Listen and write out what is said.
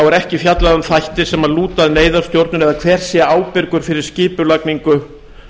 er ekki fjallað um þætti sem lúta að neyðarstjórnun eða hver sé ábyrgur fyrir skipulagningu